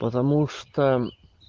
потому что